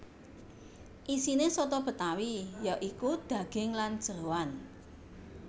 Isiné soto Betawi ya iku daging lan jeroan